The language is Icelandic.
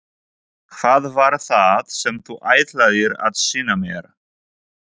Hvað var það sem þú ætlaðir að sýna mér?